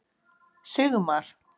Sigmar